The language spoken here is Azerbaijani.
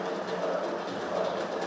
Qarabağ!